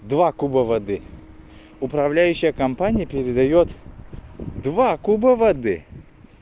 два куба воды управляющая компания передаёт два куба воды